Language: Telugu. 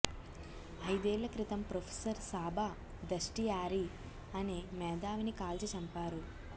అయిదేళ్ల క్రితం ప్రొఫెసర్ సాబా దష్టియారీ అనే మేధావిని కాల్చి చంపారు